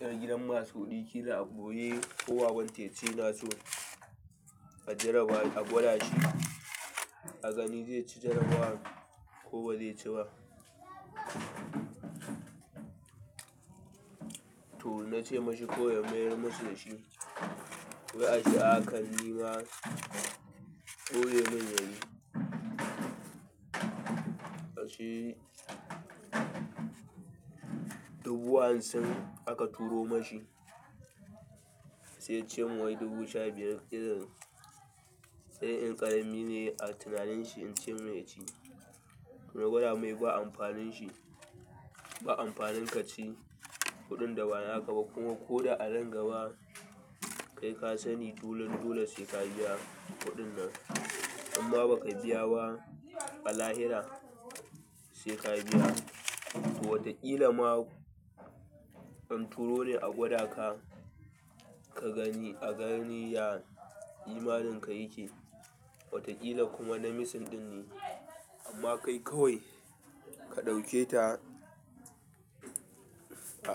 ƴar gidan masu kuɗi, kila a ɓoye ko babanta yace yanaso jaraba a gwadashi aga ni zayaci jarabawar ko baze ci ba. To na ce ma shi kawai mayar musu da shi, wai ashe a hakan nima ɓoyeman yayi dubu hamsin aka turo ma shi, sai ya ce mun wai dubu sha biyar irin, sai in ƙarami ne a tunanin shi in ce mai ya ci. To gwada mai ba amfanin shi, ba amfanin ka ci kuɗin da ba naka ba kuma ko da a nan gaba kai ka sani dole dole sai ka biya kuɗin nan. Inma baka biya ba a lahira sai ka biya. To wataƙila ma an turo ne a gwada ka, ka gani a gani ya imaninka yake. Wataƙila kuma na misin ɗin ne, amma kai kawai ka ɗauke ta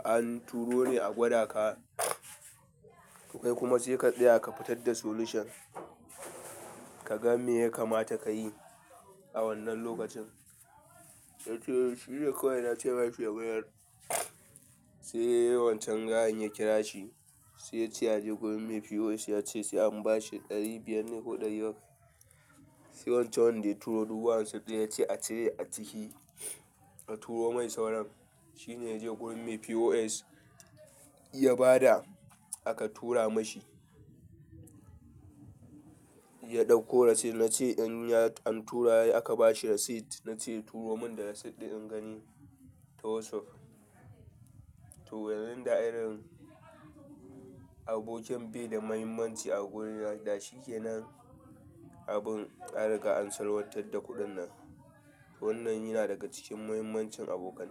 an turo ne a gwada ka kai kuma sai ka tsaya ka fitad da solution kaga me ya kamata kayi a wannan lokacin. Ya ce shi dai kawai na ce ma shi ya mayar, sai ya yi wancan gayan ya kira shi, sai yace ya je gurin mai POS ya ce sai an ba shi ɗari biyar ne ko ɗari bakwai. Sai wancan wanda ya turo dubu hamsin ɗin ya ce a cire a ciki, a turo mai sauran. Shi ne ya je gurin mai POS ya ba da aka tura ma shi, ya ɗauko receipt. Na ce in ya an tura aka ba shi receipt, na ce turo mun da receipt ɗin in gani ta WhatsApp. To wannan da irin abokan be da mahimmanci a gurina da shi kenan, abun an riga an salwantar da kuɗin nan. To wannan yana daga cikin muhimmancin abokan.